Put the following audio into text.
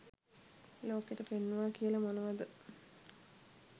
ලෝකෙට පෙන්නුවා කියල මොනවද